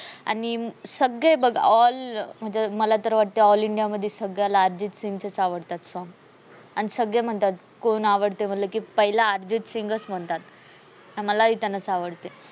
आणि सगळे बघ all म्हणजे मला तर वाटते all india मध्ये अर्जित सिंगचेच songs आवडतात. आणि सगळे म्हणतात कोण आवडते मनल की पहीला अर्जित सिंगच म्हणतात, आणि मला बी त्यानाच आवडते.